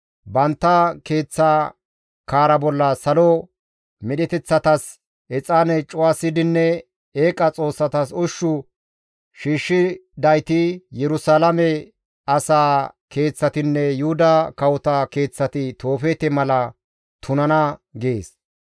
Bantta keeththa kaara bolla salo medheteththatas exaane cuwasidinne eeqa xoossatas ushshu shiishshidayti Yerusalaame asaa keeththatinne Yuhuda kawota keeththati Toofeete mala tunana› gees.